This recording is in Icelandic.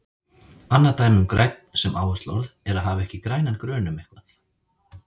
Annað dæmi um grænn sem áhersluorð er að hafa ekki grænan grun um eitthvað.